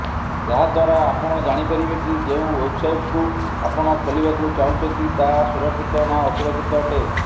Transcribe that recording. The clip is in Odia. ଯାହାଦ୍ୱାରା ଆପଣ ଜାଣିପାରିବେ କି ଯେଉଁ ୱେବସାଇଟକୁ ଆପଣ ଖୋଲିବାକୁ ଚାହୁଁଛନ୍ତି ତାହା ସୁରକ୍ଷିତ ନା ଅସୁରକ୍ଷିତ ଅଟେ